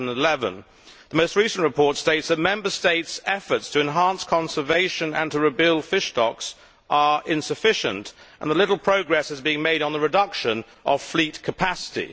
2011. The most recent report states that Member States' efforts to enhance conservation and to rebuild fish stocks are insufficient and that little progress has been made on the reduction of fleet capacity.